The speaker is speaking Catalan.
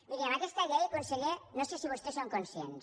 miri amb aquesta llei conseller no sé si vostès en són conscients